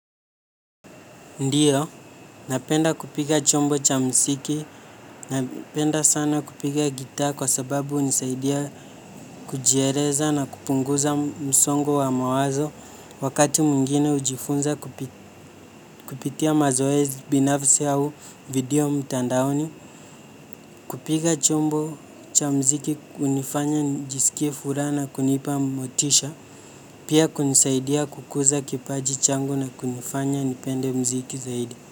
Ndiyo, napenda kupiga chombo cha muziki, napenda sana kupiga gitaa kwa sababu hunisaidia kujieleza na kupunguza msongo wa mawazo wakati mwingine hujifunza kupitia mazoezi binafsi au video mtandaoni. Kupiga chombo cha muziki hunifanya nijisikie furaha na kunipa motisha, pia kunisaidia kukuza kipaji changu na kunifanya nipende muziki zaidi.